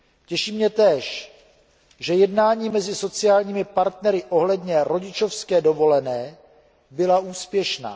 Těší mě též, že jednání mezi sociálními partnery ohledně rodičovské dovolené byla úspěšná.